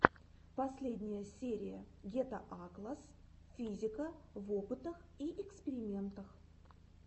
последняя серия гетаакласс физика в опытах и экспериментах